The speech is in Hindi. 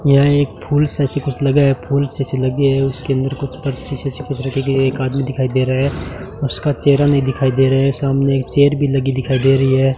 यह एक फुल सा ऐसा कुछ लगा है फूल जैसी लगी है उसके अंदर कुछ पत्ती जैसी कुछ रखी गई है एक आदमी दिखाई दे रहा है उसका चेहरा नहीं दिखाई दे रहा है सामने एक चेयर भी लगी दिखाई दे रही है।